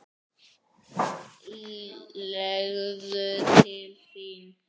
Segðu til þín!